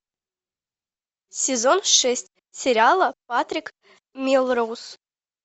сезон шесть сериала патрик мелроуз